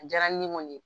A diyara ni ne kɔni ye